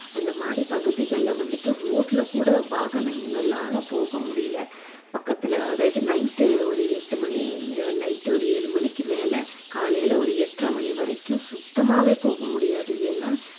அந்த மாதிரி பகுதிகள்ல வந்துட்டு road ல கூட வாகனங்களால போக முடியலை பக்கத்துல அதாவது night ஒரு எட்டு மணி night ஒரு ஏழு மணிக்கு மேல காலையில ஒரு எட்டரை மணி வரைக்கும் சுத்தமாவே போக முடியாது ஏன்னா